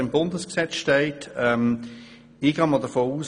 Ich gehe von Folgendem aus: